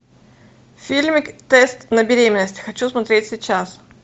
фильмик тест на беременность хочу смотреть сейчас